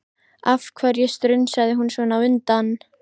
Af hverju strunsaði hún svona á undan?